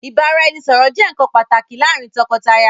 Ìbára-ẹni-sọ̀rọ̀ jẹ nkan pàtàkì láàrin àwọn tọkọtaya.